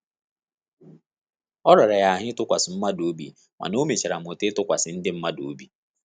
O rara ya ahụ ịtụkwasị mmadụ obi mana ọ mechara mụta ịtụkwasị ndị mmadụ obi